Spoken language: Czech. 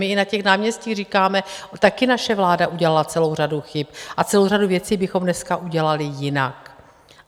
My i na těch náměstích říkáme, taky naše vláda udělala celou řadu chyb a celou řadu věcí bychom dneska udělali jinak.